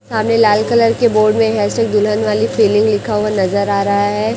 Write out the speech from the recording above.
सामने लाल कलर के बोर्ड में हेयर स्टाइल दुल्हन वाली फीलिंग लिखा हुआ नजर आ रहा है।